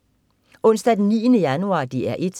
Onsdag den 9. januar - DR 1: